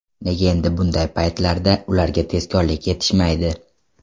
Nega endi bunday paytlarda ularga tezkorlik yetishmaydi”.